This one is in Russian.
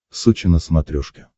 сочи на смотрешке